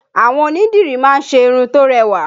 Àwọn onídìrí má ń ṣe irun tó rẹwà